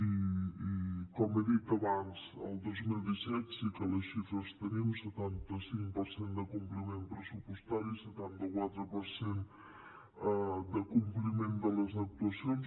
i com he dit abans del dos mil disset sí que les xifres les tenim setanta cinc per cent de compliment pressupostari i setanta quatre per cent de compliment de les actuacions